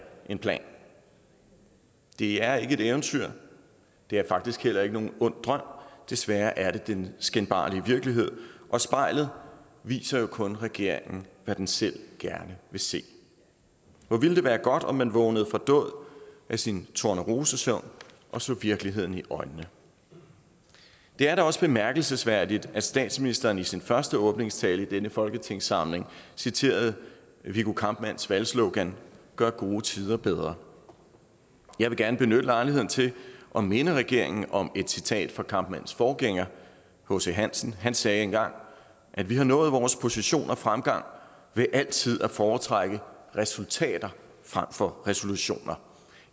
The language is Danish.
en plan det er ikke et eventyr det er faktisk heller ikke nogen ond drøm desværre er det den skinbarlige virkelighed og spejlet viser jo kun regeringen hvad den selv gerne vil se hvor ville det være godt om man vågnede til dåd af sin tornerosesøvn og så virkeligheden i øjnene det er da også bemærkelsesværdigt at statsministeren i sin første åbningstale i denne folketingssamling citerede viggo kampmanns valgslogan gør gode tider bedre jeg vil gerne benytte lejligheden til at minde regeringen om et citat fra kampmanns forgænger hc hansen han sagde engang at vi har nået vores position og fremgang ved altid at foretrække resultater frem for resolutioner